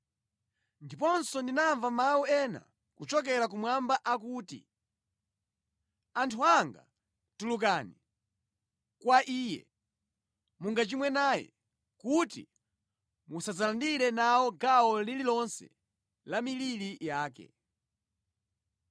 Ndiponso ndinamva mawu ena kuchokera kumwamba akuti: “ ‘Anthu anga tulukani, mwa iye,’ mungachimwe naye kuti musadzalandire nawo gawo lililonse la miliri yake;